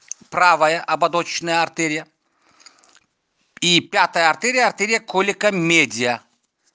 правая ободочная артерия и пятая артерия артерия колика медиа